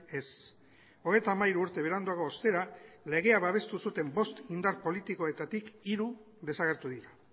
ez hogeita hamairu urte beranduago ostera legea babestu zuten bost indar politikoetatik hiru desagertu dira